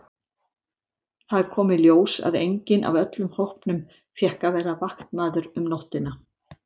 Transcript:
Það kom í ljós að enginn af öllum hópnum fékk að vera vaktmaður um nóttina.